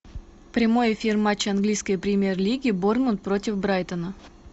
прямой эфир матча английской премьер лиги борнмут против брайтона